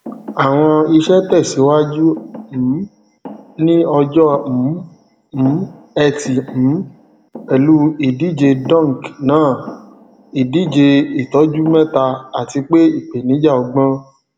àwọn iṣẹ tẹsíwájú um ní ọjọ um um ẹtì um pẹlú ìdíje dunk náà ìdíjeìtọjú mẹta àti pé ìpènijà ọgbọn